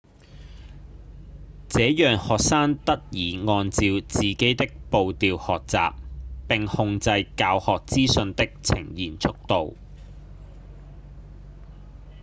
這讓學生得以按照自己的步調學習並控制教學資訊的呈現速度